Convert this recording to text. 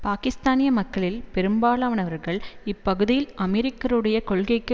பாக்கிஸ்தானிய மக்களில் பெரும்பாலானவர்கள் இப்பகுதியில் அமெரிக்கருடைய கொள்கைக்கு